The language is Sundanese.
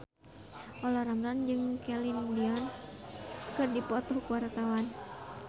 Olla Ramlan jeung Celine Dion keur dipoto ku wartawan